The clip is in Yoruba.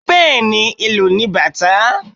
Bẹẹni, ìlù ni bata